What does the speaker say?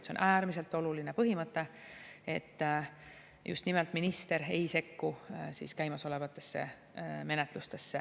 See on äärmiselt oluline põhimõte, et just nimelt minister ei sekku käimasolevatesse menetlustesse.